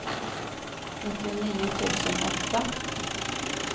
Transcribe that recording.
nittionio tusen åtta